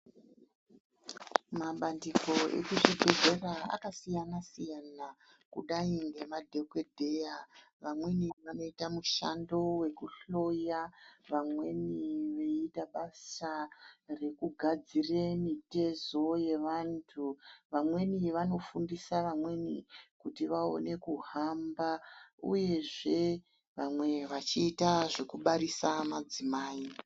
Mabandiko ekuzvibhedhlera akasiyana-siyana kudai ngemadhogodheya. Vamweni anoita mushando vekuhloya vamweni veiita basa rekugadzire mitezo yevantu. Vamweni vanofundisa vamweni kuti vaone kuhamba uyezve vamwe vachiita zvekubarisa madzimai.